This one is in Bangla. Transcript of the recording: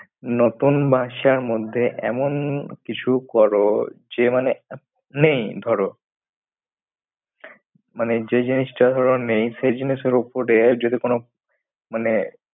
নতুন বর্ষর মধ্যে এমন কিছু করো যে মানে নেই ধরো। মানে যে জিনিসটা ধরো নেই। সেই জিনিসের ওপরে যদি কোনো মানে